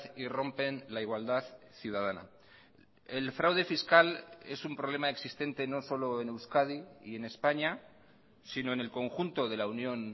y rompen la igualdad ciudadana el fraude fiscal es un problema existente no solo en euskadi y en españa sino en el conjunto de la unión